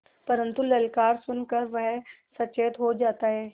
परन्तु ललकार सुन कर वह सचेत हो जाता है